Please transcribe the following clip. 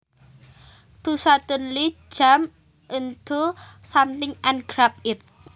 To suddenly jump onto something and grab it